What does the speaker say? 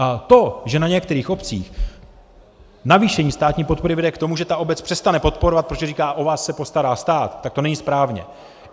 A to, že na některých obcích navýšení státní podpory vede k tomu, že ta obec přestane podporovat, protože říká "o vás se postará stát", tak to není správně.